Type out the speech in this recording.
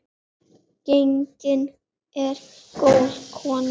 Gengin er góð kona.